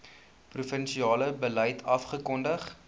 provinsiale beleid afgekondig